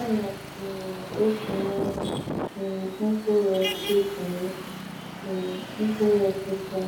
Ana m um etinye um mkpụrụ etinye um mkpụrụ osisi